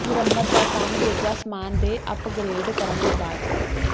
ਮੁਰੰਮਤ ਦਾ ਕੰਮ ਜ ਸਾਮਾਨ ਦੇ ਅੱਪਗਰੇਡ ਕਰਨ ਦੇ ਬਾਅਦ